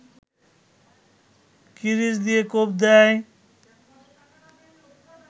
কিরিচ দিয়ে কোপ দেয়